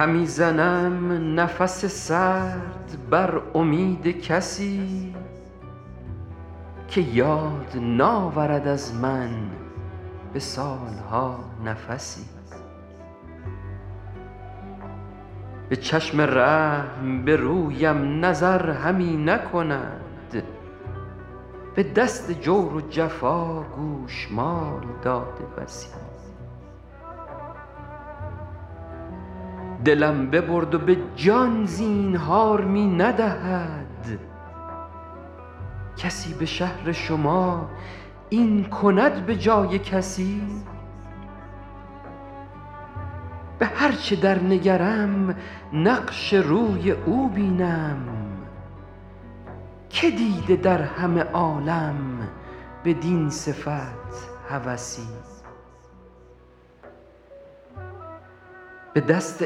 همی زنم نفس سرد بر امید کسی که یاد ناورد از من به سال ها نفسی به چشم رحم به رویم نظر همی نکند به دست جور و جفا گوشمال داده بسی دلم ببرد و به جان زینهار می ندهد کسی به شهر شما این کند به جای کسی به هر چه در نگرم نقش روی او بینم که دیده در همه عالم بدین صفت هوسی به دست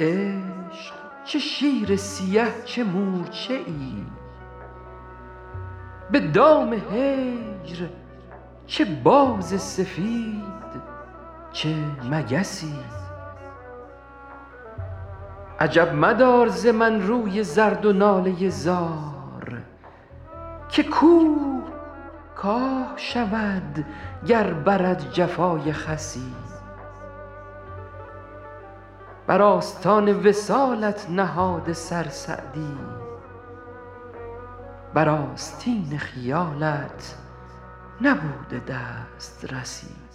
عشق چه شیر سیه چه مورچه ای به دام هجر چه باز سفید چه مگسی عجب مدار ز من روی زرد و ناله زار که کوه کاه شود گر برد جفای خسی بر آستان وصالت نهاده سر سعدی بر آستین خیالت نبوده دسترسی